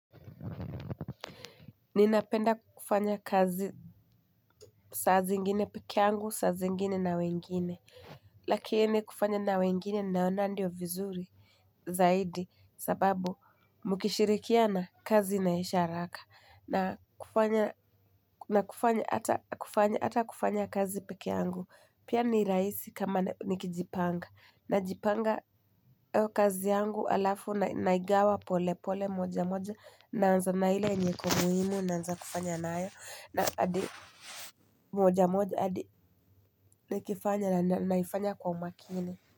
Ninapenda kufanya kazi saa zingine peke yangu saa zingine na wengine. Lakini kufanya na wengine naona ndio vizuri zaidi sababu mkishirikiana kazi inaisha haraka na kufanya. Na kufanya hata kufanya hata kufanya kazi peke yangu pia ni rahisi kama nikijipanga najipanga kazi yangu halafu naigawa pole pole moja moja naanza na ile yenye iko muhimu naanza kufanya nayo na hadi moja moja hadi nikifanya na naifanya kwa umakini.